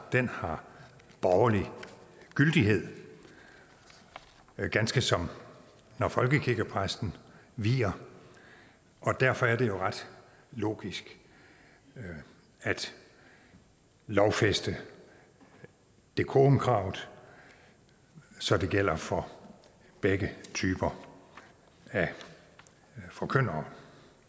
har borgerlig gyldighed ganske som når folkekirkepræsten vier og derfor er det ret logisk at lovfæste decorumkravet så det gælder for begge typer af forkyndere